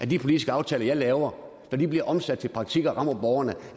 de politiske aftaler jeg laver bliver omsat til praktik og rammer borgerne